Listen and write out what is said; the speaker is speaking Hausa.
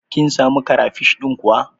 Kin samu karafish ɗin kuwa?